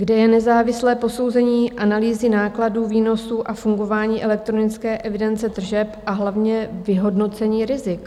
Kde je nezávislé posouzení analýzy nákladů, výnosů a fungování elektronické evidence tržeb a hlavně vyhodnocení rizik?